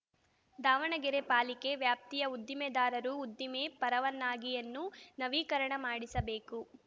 ದಾವಣಗೆರೆ ಪಾಲಿಕೆ ವ್ಯಾಪ್ತಿಯ ಉದ್ದಿಮೆದಾರರು ಉದ್ದಿಮೆ ಪರವನ್ನಾಗಿಯನ್ನು ನವೀಕರಣ ಮಾಡಿಸಬೇಕು